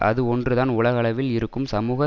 அது ஒன்றுதான் உலகளவில் இருக்கும் சமூக